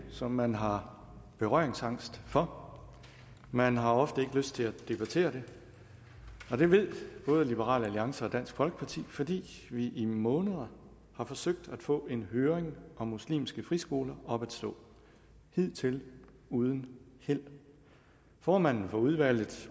som man har berøringsangst for man har ofte ikke lyst til at debattere det og det ved både liberal alliance og dansk folkeparti fordi vi i måneder har forsøgt at få en høring om muslimske friskoler op at stå hidtil uden held formanden for udvalget